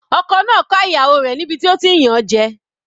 Ọkọ náà ká ìyàwó rẹ̀ níbi tí ó ti ń yàn an jẹ.